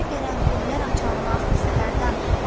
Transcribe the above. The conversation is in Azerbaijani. Qoynunda qərənfillər açan nazlı səhərdən.